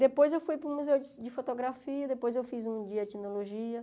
Depois eu fui para o museu de fotografia, depois eu fiz um dia de etnologia.